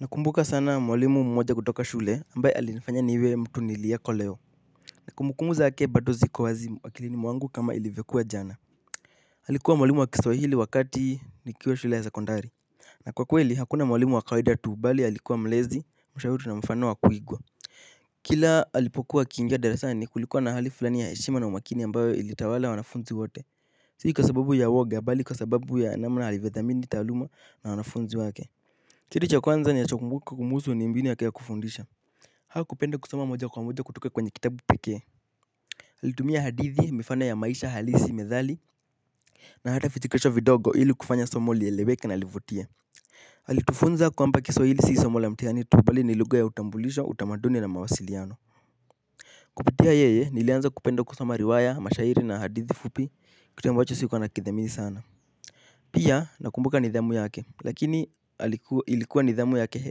Nakumbuka sana mwalimu mmoja kutoka shule ambaye alinifanya niwe mtu niliyoko leo. Na kumbukumbu zake bado ziko wazi kwa akilini mwangu kama ilivyokuwa jana alikuwa mwalimu wa kiswahili wakati nikiwa shule ya sekondari. Na kwa kweli hakuna mwalimu wa kawaida tu bali alikuwa mlezi mshauri na mfano wa kuigwa. Kila alipokuwa akiingei darasani kulikuwa na hali fulani ya heshima na umakini ambayo ilitawala wanafunzi wote. Sihi kwa sababu ya uwoga bali kwa sababu ya namna alivyodhamini taaluma na wanafunzi wake kitu cha kwanza ninachokumbuka kumhusu ni mbinu yake ya kufundisha. Hakupenda kusoma moja kwa moja kutoka kwenye kitabu pekee alitumia hadithi mifano ya maisha halisi methali. Na hata vichekesho vidogo ili kufanya somo lieleweke na livutie alitufunza kwamba kiswahili sii somo la mtihani tu bali ni lugha ya utambulisho, utamaduni na mawasiliano. Kupitia yeye nilianza kupenda kusoma riwaya, mashairi na hadithi fupi kitu ambacho sikuwa nakidhamini sana. Pia nakumbuka nidhamu yake lakini ilikuwa nidhamu yake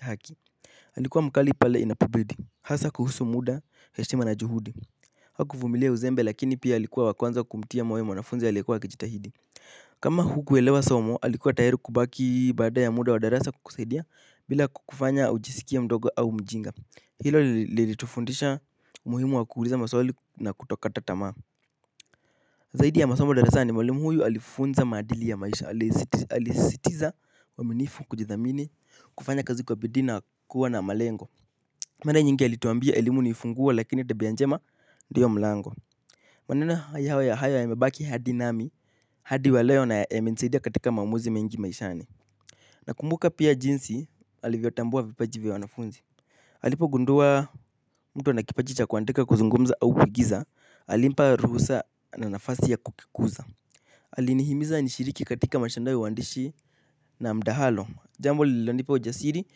haki alikuwa mkali pale inapobidi. Hasa kuhusu muda heshima na juhudi hakufumilia uzembe lakini pia alikuwa wa kwanza kumtia moyo mwanafunzi alikuyewa akijitahidi. Kama hukuelewa somo alikuwa tayari kubaki baada ya muda wa darasa kukusaidia. Bila kukufanya ujisikienmdogo au mjinga. Hilo lilitufundisha umuhimu wa kuuliza maswali na kutokata tamaa. Zaidi ya masomo darasa ni mwalimu huyu alifunza maadili ya maisha. Alisisitiza uaminifu kujithamini kufanya kazi kwa bidii na kuwa na malengo. Mara nyingi alituambia elimu ni funguo lakini tabia njema ndiyo mlango. Maneno hayo huwa hayo yamebaki hadi nami, hadi wa leo imenisaidia katika maamuzi mengi maishani. Nakumbuka pia jinsi alivyotambua vipaji vya wanafunzi. Alipo gundua mtu ana kipaji cha kuandika kuzungumza au kuigiza, alimpa ruhusa na nafasi ya kukikuza. Alinihimiza nishiriki katika mashindano ya uandishi na mtaalo jambo lililonipa ujasiri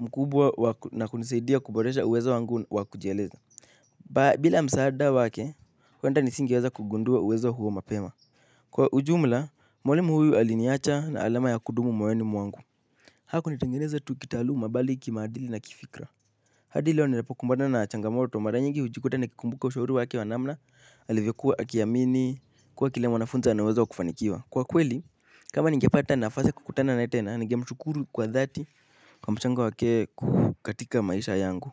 mkubwa na kunisaidia kuboresha uwezo wangu wa kujieleza. Bila msaada wake, huenda nisingiweza kugundua uwezo huo mapema. Kwa ujumla, mwalimu huyu aliniacha na alama ya kudumu moyoni mwangu. Hakunitengeneza tu kitaaluma bali kimaadili na kifikra. Hadi leo nilipo kumbana na changamoto, mara nyingi hujikuta na kikumbuka ushauri wake wa namna alivyekuwa akiamini, kuwa kila mwanafunzi anaweza kufanikiwa. Kwa kweli, kama ningepata na nafasi kukutana naye tena, nigemshukuru kwa dhati kwa mchango wake katika maisha yangu.